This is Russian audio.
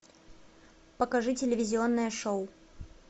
покажи телевизионное шоу